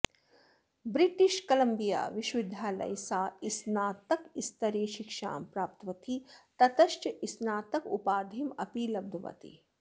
व्रि़ट्रिश Columbia विश्वविद्यालये सा स्नातकस्तरे शिक्षां प्राप्तवती ततश्च स्नातक उपाधीम् अपि लब्धवती